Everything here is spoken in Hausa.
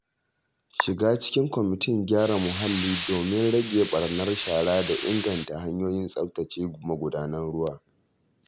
Shiga cikin kwamitin gyara muhalli domin rage ɓarnar shara da inganta hanyoyin tsabtace magudanar ruwa.